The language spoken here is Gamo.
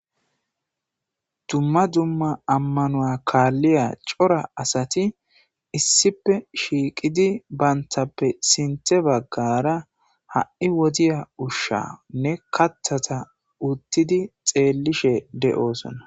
Dums duma amanuwa kaliya cora asati issippe shiiqidi bantappe sintha bagara ha'i wodiya ushanne kaathiya wothidi xeelishe de'osona.